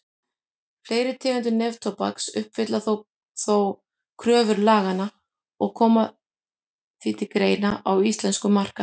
Fleiri tegundir neftóbaks uppfylla þó kröfur laganna og koma því til greina á íslenskum markaði.